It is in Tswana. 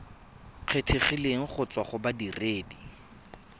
kgethegileng go tswa go bodiredi